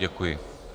Děkuji.